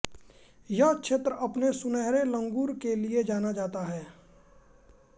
यह क्षेत्र अपने सुनहरे लंगूर के लिए जाना जाता है